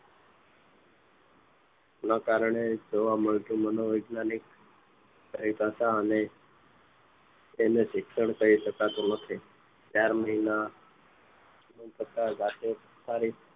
ન કારણે જોવા મળતું મનોવૈજ્ઞાનિક ભાઈ કથા અને તેને શિક્ષણ કહી શકાતું નથી ચાર મહિના થતાં દાખલ